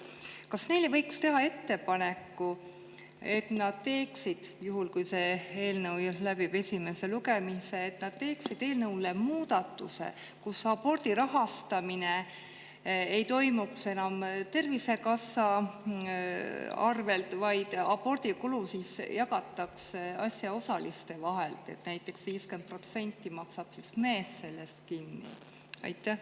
Kas neile võiks teha ettepaneku, et juhul, kui see eelnõu läbib esimese lugemise, nad teeksid eelnõu kohta muudatusettepaneku, mille kohaselt aborti ei rahastataks enam Tervisekassa kaudu, vaid abordi kulu jagataks asjaosaliste vahel, nii et näiteks 50% sellest maksaks kinni mees?